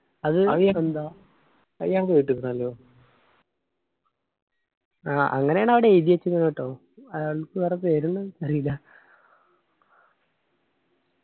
അത് അത് ഞാൻ കേട്ടിക്കണല്ലോ ആ അങ്ങനെയാണ് അവിടെ എയിതി വെച്ചെക്കുന്നു ട്ടോ അയാൾക്ക് വേറെ പേരുണ്ടോ അറിയില്ല